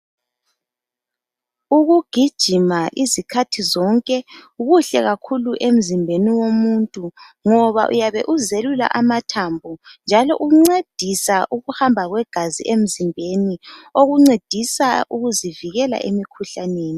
Ukugijima izikhathi zonke kuhle kakhulu emzimbeni womuntu ngoba uyabe uzelula amathambo njalo uncedisa ukuhamba kwegazi emzimbeni okuncedisa ukuzivikela emkhuhlaneni.